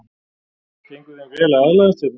Gengur þeim vel að aðlagast hérna?